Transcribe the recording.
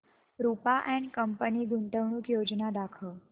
Rupa and company गुंतवणूक योजना दाखव